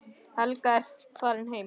Helga er farin heim.